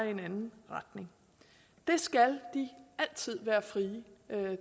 i en anden retning det skal de altid være frie